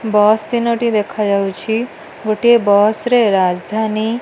Bus ତିନୋଟି ଦେଖା ଯାଉଛି। ଗୋଟିଏ ବସ୍ ରେ ରାଜଧାନୀ ---